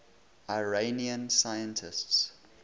iranian scientists